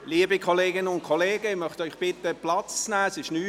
Liebe Kolleginnen und Kollegen, ich möchte Sie bitten, Platz zu nehmen.